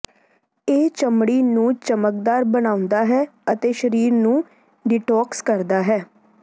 ਇਹ ਚਮੜੀ ਨੂੰ ਚਮਕਦਾਰ ਬਣਾਉਂਦਾ ਹੈ ਅਤੇ ਸ਼ਰੀਰ ਨੂੰ ਡੀਟੌਕਸ ਕਰਦਾ ਹੈ